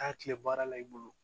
Taa kile baara la i bolo